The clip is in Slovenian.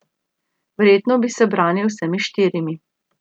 Verjetno bi se branili z vsemi štirimi.